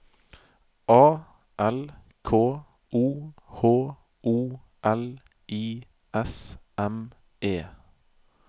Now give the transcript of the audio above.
A L K O H O L I S M E